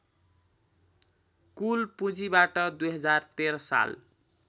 कुल पुँजीबाट २०१३ साल